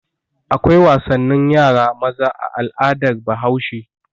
Akwai wasannin yara maza a al'adar Bahaushe.